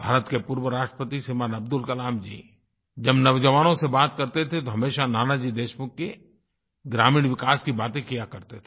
भारत के पूर्व राष्ट्रपति श्रीमान अब्दुल कलाम जी जब नौजवानों से बात करते थे तो हमेशा नानाजी देशमुख के ग्रामीण विकास की बातें किया करते थे